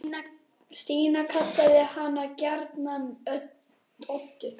Stína kallaði hana gjarnan Öddu.